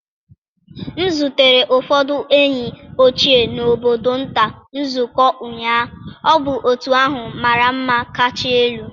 M zutere ụfọdụ ndị enyi ochie na obodo nta nzukọ ụnyaahụ. Ọ bụ otú ahụ mara mma catch elu.